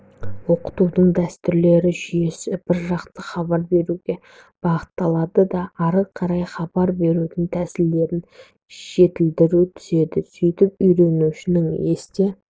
оқытудың дәстүрлі жүйесі біржақты хабар беруге бағытталады да ары қарай хабар берудің тәсілдерін жетілдіре түседі сөйтіп үйренушінің есте